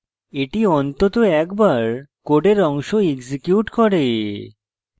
the অন্তত একবার code অংশ execute করবে